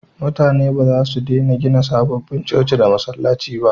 Mutane ba za su dena gina sababbin coci da masallaci ba